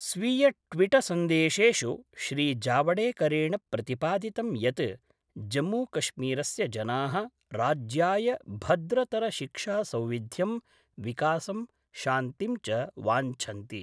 स्वीयट्विटसन्देशेषु श्रीजावडेकरेण प्रतिपादितं यत् जम्मूकश्मीरस्य जना: राज्याय भद्रतर शिक्षासौविध्यं विकासं शान्तिं च वाञ्छन्ति।